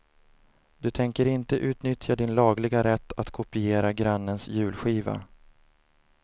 Du tänker inte utnyttja din lagliga rätt att kopiera grannens julskiva.